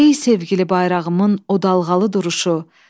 Ey sevgili bayrağımın o dalğalı duruşu,